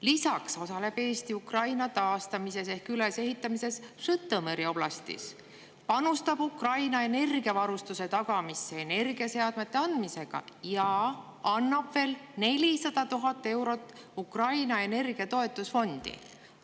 Lisaks osaleb Eesti Ukraina taastamises ehk ülesehitamises Žõtomõri oblastis, panustab Ukraina energiavarustuse tagamisse energiaseadmete andmisega ja annab veel 400 000 eurot Ukraina energiatoetusfondi.